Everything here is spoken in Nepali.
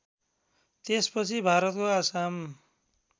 त्यसपछि भारतको आसाम